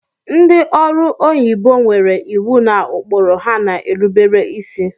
Ndị ọrụ onyibo nwere iwu na ụkpụrụ ha na-erubere isi